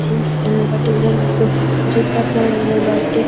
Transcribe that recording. Jeans पेहेनले बाटे उजर रंग से उ जूता पेहेनले बाटे।